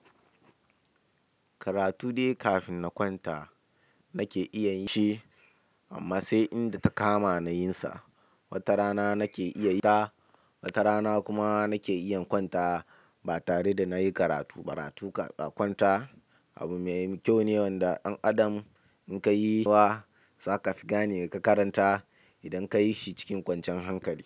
Karatu dai kafin na kwanta nake iya yinshi amma sai inda takama nayinsa. Wata rana nake iya yinta, wata rana kuma nake iya kwanta ba tare da nayi karatu ba. Karatu da kwanta abu mai kyau ne wanda ɗan adam in ka yi wa za ka fi gane ka karanta idan ka yi shi cikin kwanciyan hankali.